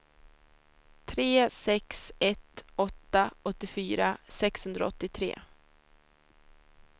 tre sex ett åtta åttiofyra sexhundraåttiotre